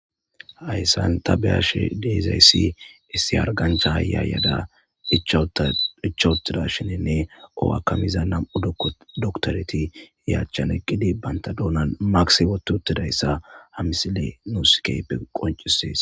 hayssan ta be ash diizayssi issi arganctha haya yada dhicha wutida shininne o7akamiza nam7u doktoreti yachchan eqqidi banta duonan maksibotu uttidayssa hamisili nuuskeype qoncisees